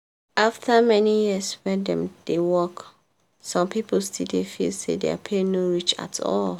after many years wey dem dey work some people still dey feel say their pay no reach at all.